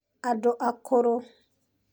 andũ akũrũ